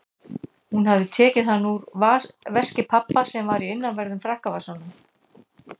Hún hafði tekið hann úr veski pabba sem var í innanverðum frakkavasanum.